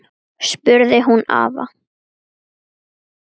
spurði hún afa.